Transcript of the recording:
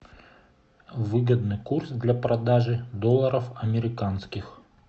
выгодный курс для продажи долларов американских